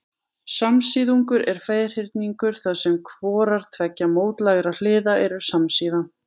Samsíðungur er ferhyrningur þar sem hvorar tveggja mótlægra hliða eru samsíða.